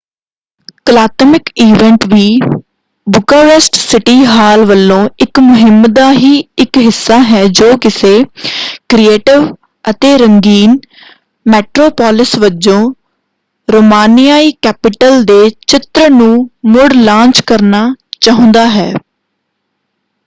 ਕਲਾਤਮਿਕ event ਵੀ Bucharest city hall ਵੱਲੋਂ ਇੱਕ ਮੁਹਿੰਮ ਦਾ ਹੀ ਇੱਕ ਹਿੱਸਾ ਹੈ ਜੋ ਕਿਸੇ ਕ੍ਰੀਏਟਿਵ ਅਤੇ ਰੰਗੀਨ ਮੈਟ੍ਰੋਪੋਲਿਸ ਵਜੋਂ ਰੋਮਾਨੀਆਈ ਕੈਪੀਟਲ ਦੇ ਚਿੱਤਰ ਨੂੰ ਮੁੜ-ਲਾਂਚ ਕਰਨਾ ਚਾਹੁੰਦਾ ਹੈ।